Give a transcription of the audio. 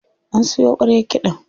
An siyo ƙwaryar kiɗan.